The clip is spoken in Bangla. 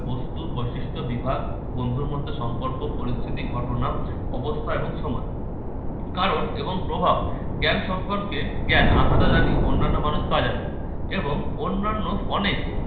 বস্তুর বৈশিষ্ট্য বিভাগ বন্ধুর মধ্যে সম্পর্ক পরিস্থিতি ঘটনা অবস্থা এবং সময়। কারণ এবং প্রভাব জ্ঞান সম্পর্কে জ্ঞান আমরা যা জানি অন্যান্য মানুষ তা জানে এবং অন্যান্য অনেক